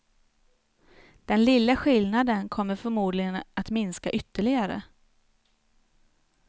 Den lilla skillnaden kommer förmodligen att minska ytterligare.